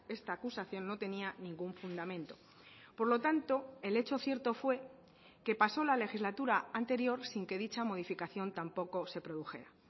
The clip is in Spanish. esta acusación no tenía ningún fundamento por lo tanto el hecho cierto fue que pasó la legislatura anterior sin que dicha modificación tampoco se produjera